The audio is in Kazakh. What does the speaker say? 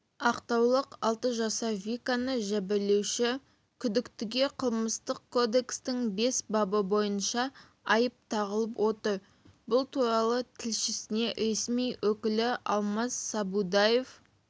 ақтаулық алты жасар виканы жәбірлеуші күдіктіге қылмыстық кодексінің бес бабы бойынша айып тағылып отыр бұл туралы тілшісіне ресми өкілі алмас садубаев